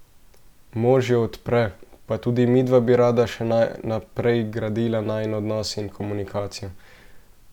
Mož jo podpre: "Pa tudi midva bi rada še naprej gradila najin odnos in komunikacijo.